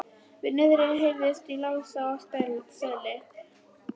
Niðri heyrðist í Lása í Seli.